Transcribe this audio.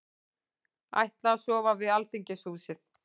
Ætla að sofa við Alþingishúsið